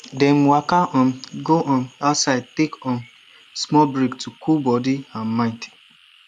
dem waka um go um outside take um small break to cool body and mind